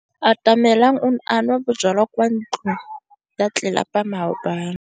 Atamelang o ne a nwa bojwala kwa ntlong ya tlelapa maobane.